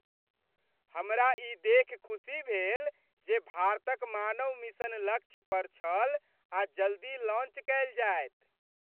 हमरा ई देखि खुशी भेल जे भारतक मानव मिशन लक्ष्य पर छल आ जल्दी लॉन्च कयल जायत।